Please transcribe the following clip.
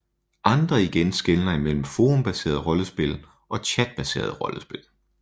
Andre igen skelner imellem forumbaseret rollespil og chatbaseret rollespil